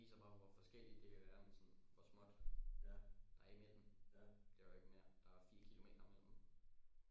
Det viser bare hvor forskelligt det kan være med sådan hvor småt der er imellem det er jo ikke mere der er fire kilometer mellem